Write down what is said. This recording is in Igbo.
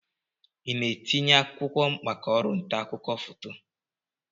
Ị na-etinye akwụkwọ maka ọrụ nta akụkọ foto?